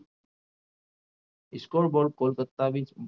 ઈસકોલ વડ કલકત્તાની